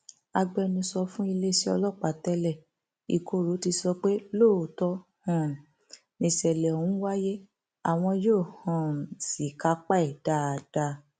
agbẹnusọ fún iléeṣẹ ọlọpàá tẹẹlẹẹ ìkorò ti sọ pé lóòótọ um nìṣẹlẹ ọhún wáyé àwọn yóò um sì kápá ẹ dáadáa